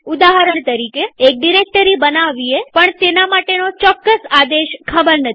ઉદાહરણ તરીકેએક ડિરેક્ટરી બનાવીએપણ તેના માટેનો ચોક્કસ આદેશ ખબર નથી